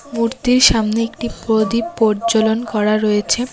মূর্তির সামনে একটি প্রদীপ পোজ্জ্বলন করা রয়েছে।